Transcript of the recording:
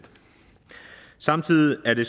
samtidig er det